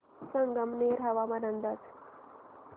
संगमनेर हवामान अंदाज